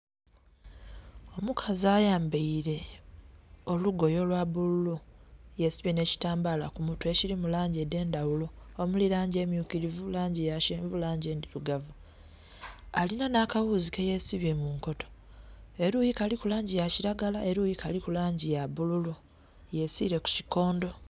Omukazi ayambaile olugoye olwa bululu, yesibye nh'ekitambala ku mutwe ekirimu langi edh'endhaghulo omuli langi emyukirivu, langi yakyenvu, langi enndhilugavu. Alinha nha kaghuzi keyesibye mu nkoto. Eluyi kaliku langi yakilagala, eluyi kaliku langi endhirugavu, yesiire ku kikondho.